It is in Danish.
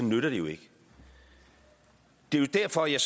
nytter det jo ikke det er jo derfor jeg